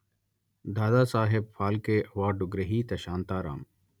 Dadasaheb Phalke award గ్రహీత శాంతారాం